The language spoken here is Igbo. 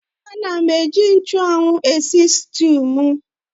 Ana m eji nchụ́anwu esi sịtịụ m